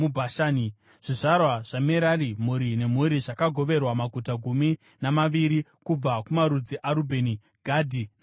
Zvizvarwa zvaMerari, mhuri nemhuri zvakagoverwa maguta gumi namaviri kubva kumarudzi aRubheni, Gadhi naZebhuruni.